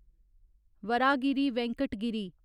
Varahagiri Venkata Giri